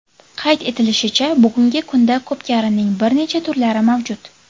Qayd etilishicha, bugungi kunda ko‘pkarining bir necha turlari mavjud.